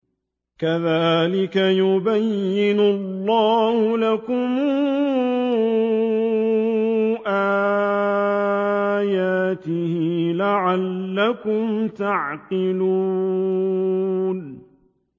كَذَٰلِكَ يُبَيِّنُ اللَّهُ لَكُمْ آيَاتِهِ لَعَلَّكُمْ تَعْقِلُونَ